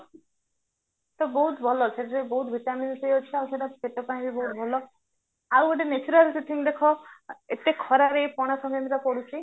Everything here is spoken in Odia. ତ ବହୁତ ଭଲ ଭଉତ vitamin C ଅଛି ଆଉ ସେଟା ପେଟ ପାଇଁ ବି ବହୁତ ଭଲ ଆଉ ଗୋଟେ natural ଦେଖ ଏତେ ଖରାରେ ପଣା ଶଙ୍କାରାନ୍ତିଟା ପଡୁଚି